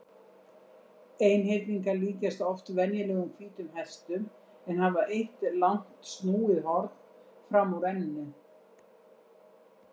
Einhyrningar líkjast oft venjulegum hvítum hestum en hafa eitt langt snúið horn fram úr enninu.